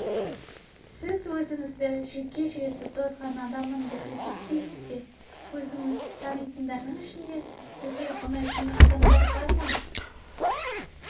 сіз өзіңізді жүйке жүйесі тозған адаммын деп есептейсіз бе өзіңіз танитындардың ішінде сізге ұнайтын адамдар бар